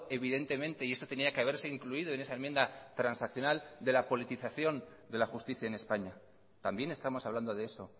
evidentemente y esto tenía que haberse incluido en esa enmienda transaccional de la politización de la justicia en españa también estamos hablando de eso